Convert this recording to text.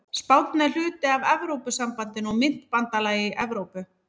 Spánn er hluti af Evrópusambandinu og myntbandalagi Evrópu.